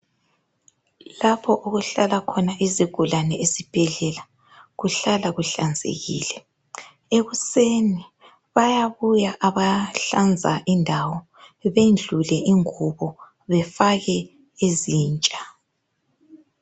Lapho okuhlala khona izigulane esibhedlela kuhlala kuhlanzekile. Ekuseni bayabuya abahlanza indawo bendlule ingubo befake ezintsha.